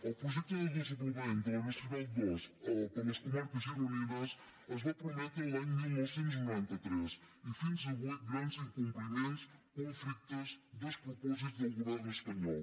el projecte de desdoblament de la nacional ii per les comarques gironines es va prometre l’any dinou noranta tres i fins avui grans incompliments conflictes despropòsits del govern espanyol